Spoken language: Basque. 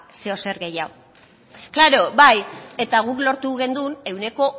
zeozer gehiago klaro bai eta guk lortu genuen ehuneko